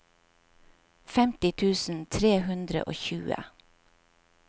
femti tusen tre hundre og tjue